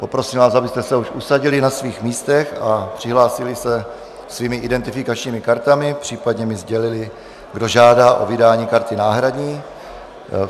Poprosím vás, abyste se už usadili na svých místech a přihlásili se svými identifikačními kartami, případně mi sdělili, kdo žádá o vydání karty náhradní.